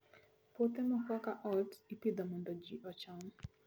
Puothe moko kaka oats, ipidho mondo ji ocham.